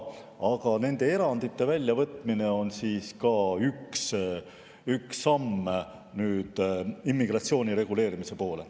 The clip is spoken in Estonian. Aga nende erandite väljavõtmine on ka üks samm immigratsiooni reguleerimise poole.